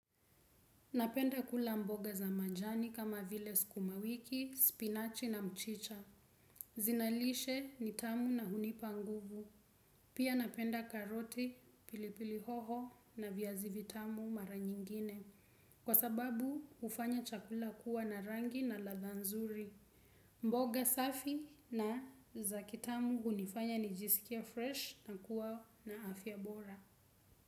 Napenda kula mboga za majani kama vile sukumawiki, spinachi na mchicha. Zinalishe nitamu na hunipa nguvu. Pia napenda karoti pilipili hoho na viazi vitamu mara nyingine. Kwa sababu hufanya chakula kuwa na rangi na ladha nzuri. Mboga safi na za kitamu hunifanya nijisikie fresh na kuwa na afya bora.